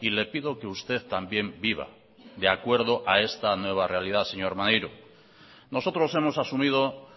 y le pido que usted también viva de acuerdo a esta nueva realidad señor maneiro nosotros hemos asumido